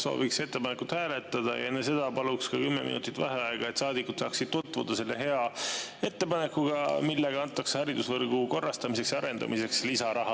Sooviks ettepanekut hääletada ja enne seda palun 10 minutit vaheaega, et saadikud saaksid tutvuda selle hea ettepanekuga, millega antakse haridusvõrgu korrastamiseks ja arendamiseks lisaraha.